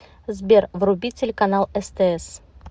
сбер вруби телеканал стс